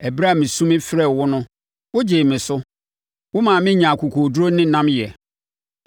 Ɛberɛ a mesu mefrɛɛ wo no, wogyee me so; womaa me nyaa akokoɔduru ne nnamyɛ.